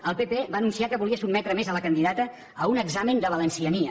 el pp va anunciar que volia sotmetre a més la candidata a un examen de valenciania